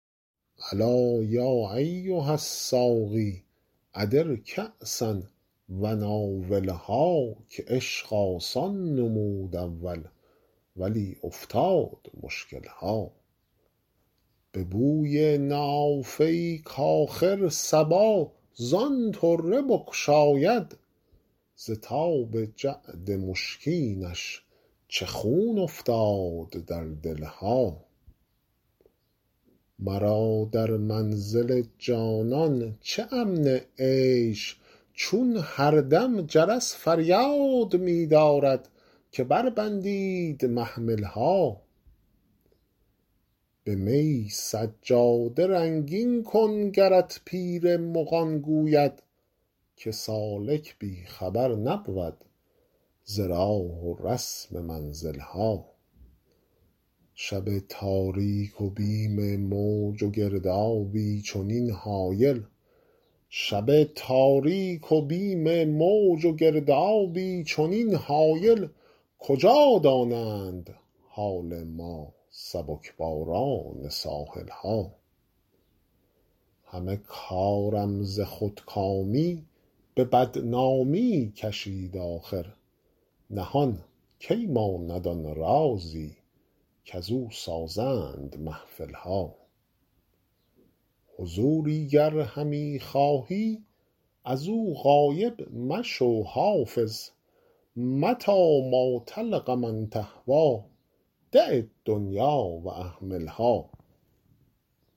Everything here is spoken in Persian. الا یا ایها الساقی ادر کأسا و ناولها که عشق آسان نمود اول ولی افتاد مشکل ها به بوی نافه ای کآخر صبا زان طره بگشاید ز تاب جعد مشکینش چه خون افتاد در دل ها مرا در منزل جانان چه امن عیش چون هر دم جرس فریاد می دارد که بربندید محمل ها به می سجاده رنگین کن گرت پیر مغان گوید که سالک بی خبر نبود ز راه و رسم منزل ها شب تاریک و بیم موج و گردابی چنین هایل کجا دانند حال ما سبک باران ساحل ها همه کارم ز خودکامی به بدنامی کشید آخر نهان کی ماند آن رازی کزو سازند محفل ها حضوری گر همی خواهی از او غایب مشو حافظ متیٰ ما تلق من تهویٰ دع الدنیا و اهملها